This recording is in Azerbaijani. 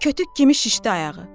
Kötük kimi şişdi ayağı.